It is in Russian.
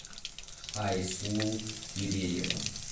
айслу киреева